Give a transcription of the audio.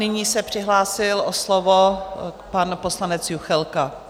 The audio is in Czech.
Nyní se přihlásil o slovo pan poslanec Juchelka.